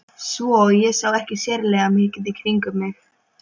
Svo ég sá ekki sérlega mikið í kringum mig.